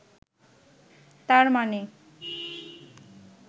তার মানে